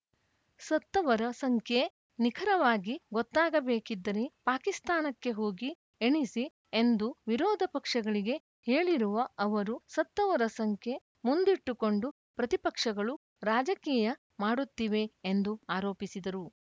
ಸತ್ತವರ ಸಂಖ್ಯೆ ನಿಖರವಾಗಿ ಗೊತ್ತಾಗಬೇಕಿದ್ದರೆ ಪಾಕಿಸ್ತಾನಕ್ಕೆ ಹೋಗಿ ಎಣಿಸಿ ಎಂದು ವಿರೋಧ ಪಕ್ಷಗಳಿಗೆ ಹೇಳಿರುವ ಅವರು ಸತ್ತವರ ಸಂಖ್ಯೆ ಮುಂದಿಟ್ಟುಕೊಂಡು ಪ್ರತಿಪಕ್ಷಗಳು ರಾಜಕೀಯ ಮಾಡುತ್ತಿವೆ ಎಂದು ಆರೋಪಿಸಿದರು